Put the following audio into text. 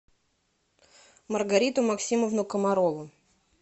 маргариту максимовну комарову